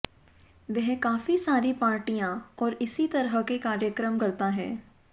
वह काफी सारी पार्टियां और इसी तरह के कार्यक्रम करता है